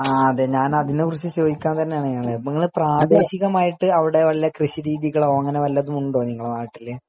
ആ അതെ ഞാൻ അതിനെ കുറിച്ച് സംസാരിക്കാൻ വേണ്ടി തന്നെയാണ് അപ്പൊ നിങ്ങൾ പ്രാതെക്ഷിക്കാമായിട്ട് അവിടെ കൃഷി രീതികളോ ഉണ്ടോ നിങ്ങളുടെ നാട്ടില് ?